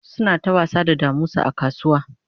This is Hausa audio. suna ta wasa da damusa a kasuwa